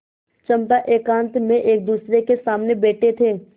चंपा एकांत में एकदूसरे के सामने बैठे थे